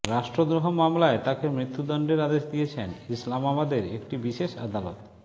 রাষ্ট্রদ্রোহ মামলায় তাকে মৃত্যুদণ্ডের আদেশ দিয়েছেন ইসলামাবাদের একটি বিশেষ আদালত